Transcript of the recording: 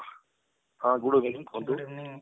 ହଁ good evening କୁହନ୍ତୁ